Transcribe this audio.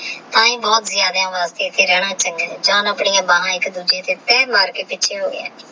ਆਯੀ ਵਾਸਤੇ ਐਥੇ ਰਹਨਾ ਚੰਗਾ ਨਹੀ ਆਹ ਜਾਂ ਆਪਣੀ ਬਹਾਏਕ ਦੂਜੇ ਤੇਹ ਪੈਰ ਮਾਰਕੇ ਪਿਚ ਏਹੋ ਗਯਾ ਹੈ